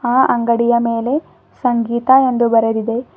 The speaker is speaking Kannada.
ಆ ಅಂಗಡಿಯ ಮೇಲೆ ಸಂಗೀತಾ ಎಂದು ಬರೆದಿದೆ.